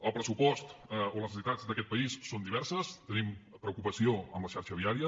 les necessitats d’aquest país són diverses i tenim preocupació per la xarxa viària